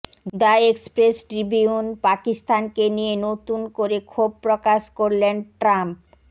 the Express ট্রিবিউনপাকিস্তানকে নিয়ে নতুন করে ক্ষোভ প্রকাশ করলেন ট্রাম্প